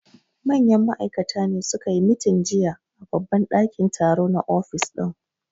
Manyan ma'aikata ne su ka yi meeting jiya a babban dakin taro na office din